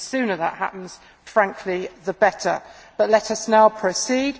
The sooner that happens, frankly the better, but let us now proceed.